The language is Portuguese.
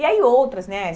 E aí outras, né?